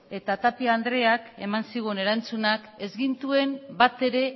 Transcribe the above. eta tapia andreak eman zigun erantzunak ez gintuen batere